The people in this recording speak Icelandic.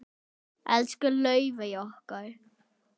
Elsku Laufey okkar.